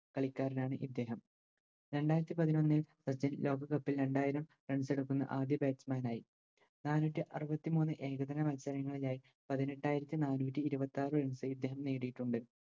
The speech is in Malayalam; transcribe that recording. കളിക്കാരനാണ് ഇദ്ദേഹ രണ്ടായിരത്തി പതിനൊന്നിൽ സച്ചിൻ ലോകകപ്പിൽ രണ്ടായിരം Runs എടുക്കുന്ന ആദ്യ Batsman നായി നാനൂറ്റിയറുപത്തിമൂന്ന് ഏകദിന മത്സരങ്ങളിലായി പതിനെട്ടായിരത്തി നാനൂറ്റി ഇരുപത്താറ് Runs ഇദ്ദേഹം നേടിയിട്ടുണ്ട്